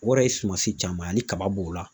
O yɛrɛ ye sumansi caman ye. Hali kaba b'o la.